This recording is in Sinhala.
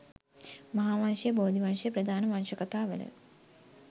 මහාවංශය, බෝධිවංශය ප්‍රධාන වංශ කතාවල